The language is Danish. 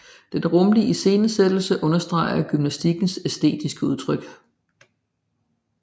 Den rumlige iscenesættelse understreger gymnastikens æstetiske udtryk